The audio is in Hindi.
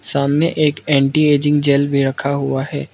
सामने एक एंटी एजिंग जैल भी रखा हुआ है।